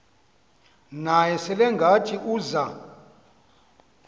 naye selengathi uza